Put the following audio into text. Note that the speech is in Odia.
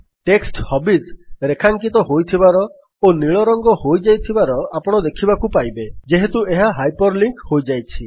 ଟେକ୍ସଟ୍ ହବିଜ୍ ରେଖାଙ୍କିତ ହୋଇଥିବାର ଓ ନୀଳ ରଙ୍ଗ ହୋଇଯାଇଥିବାର ଆପଣ ଦେଖିବାକୁ ପାଇବେ ଯେହେତୁ ଏହା ହାଇପର୍ ଲିଙ୍କ୍ ହୋଇଯାଇଛି